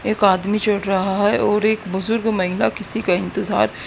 एक आदमी चल रहा है और एक बुजुर्ग महिला किसी का इंतजार--